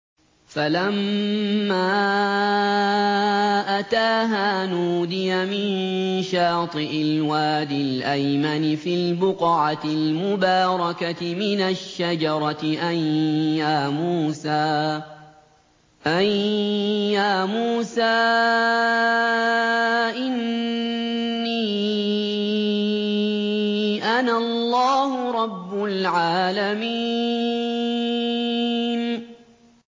فَلَمَّا أَتَاهَا نُودِيَ مِن شَاطِئِ الْوَادِ الْأَيْمَنِ فِي الْبُقْعَةِ الْمُبَارَكَةِ مِنَ الشَّجَرَةِ أَن يَا مُوسَىٰ إِنِّي أَنَا اللَّهُ رَبُّ الْعَالَمِينَ